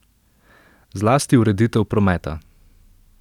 Zlasti ureditev prometa!